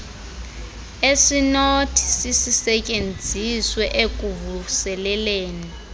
esinothi sisisetyenziswe ekuvuseleleni